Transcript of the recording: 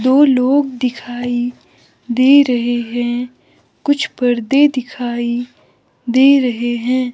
दो लोग दिखाई दे रहे हैं कुछ पर्दे दिखाई दे रहे हैं।